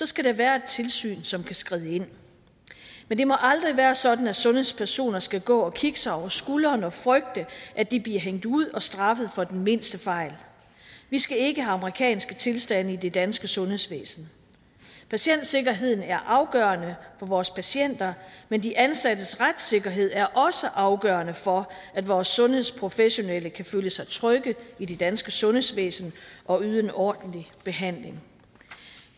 skal der være et tilsyn som kan skride ind men det må aldrig være sådan at sundhedspersoner skal gå og kigge sig over skulderen og frygte at de bliver hængt ud og straffet for den mindste fejl vi skal ikke have amerikanske tilstande i det danske sundhedsvæsen patientsikkerheden er afgørende for vores patienter men de ansattes retssikkerhed er også afgørende for at vores sundhedsprofessionelle kan føle sig trygge i det danske sundhedsvæsen og yde en ordentlig behandling